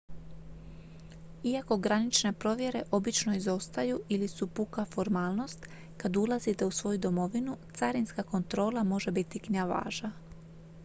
iako granične provjere obično izostaju ili su puka formalnost kad ulazite u svoju domovinu carinska kontrola može biti gnjavaža